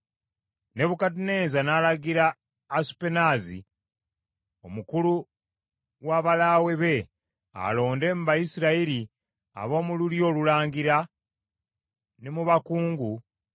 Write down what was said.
Nebukadduneeza n’alagira Asupenaazi omukulu w’abalaawe be alonde mu Bayisirayiri ab’omu lulyo olulangira, ne mu bakungu,